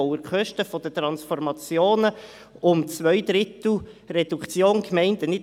Er erwähnt die Kosten für die Transformationen nicht;